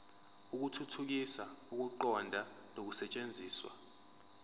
ukuthuthukisa ukuqonda nokusetshenziswa